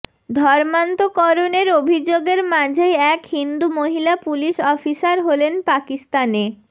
ধর্মান্তকরনের অভিযোগের মাঝেই এক হিন্দু মহিলা পুলিশ অফিসার হলেন পাকিস্তানে